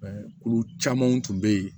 kulu camanw tun bɛ yen